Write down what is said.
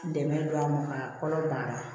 Dɛmɛ don an ma ka kɔnɔ banna